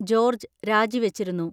George രാജിവച്ചിരുന്നു.